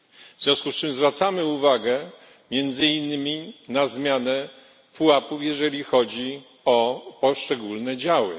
W związku z czym zwracamy uwagę między innymi na zmianę pułapów, jeżeli chodzi o poszczególne działy.